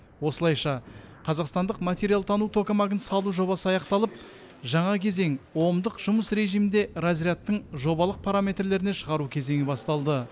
осылайша қазақстандық материалтану токамагын салу жобасы аяқталып жаңа кезең омдық жұмыс режимінде разрядтың жобалық параметрлеріне шығару кезеңі басталды